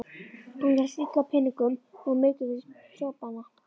Honum hélst illa á peningum og var mikið fyrir sopann.